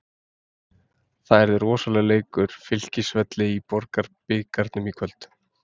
Það var rosalegur leikur Fylkisvelli í Borgunarbikarnum í kvöld.